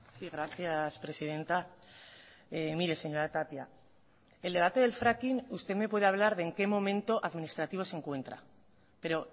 sí gracias presidenta mire señora tapia el debate del fracking usted me puede hablar de en qué momento administrativo se encuentra pero